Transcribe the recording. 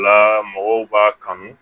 La mɔgɔw b'a kanu